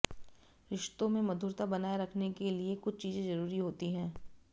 रिश्तों में मधुरता बनाए रखने के लिए कुछ चीजें जरूरी होती हैं